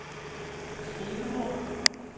skrivebord